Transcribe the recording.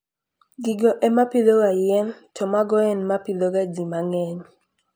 Gigo e ma pidhoga yien, to mago e ma pidhoga ji mang'eny.